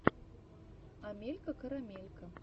амелька карамелька